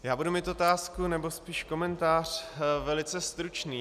Já budu mít otázku, nebo spíš komentář velice stručný.